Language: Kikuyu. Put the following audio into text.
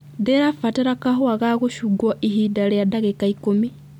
ndĩra fatara kahũa ga gũchunguo ihinda ria ndagika ikũmi